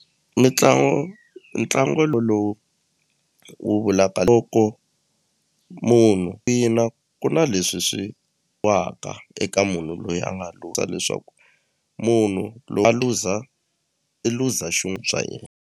Mitlangu ntlangu lowu wu vulaka munhu ina ku na leswi swi waka eka munhu loyi a nga leswaku munhu a luza i luza swa yena.